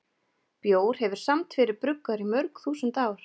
Bjór hefur samt verið bruggaður í mörg þúsund ár.